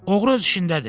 Oğru öz işindədir.